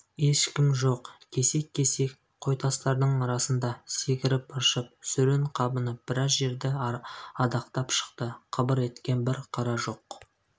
ешкім жоқ кесек-кесек қойтастардың арасында секіріп-ыршып сүрін-қабынып біраз жерді адақтап шықты қыбыр еткен бір қара жоқ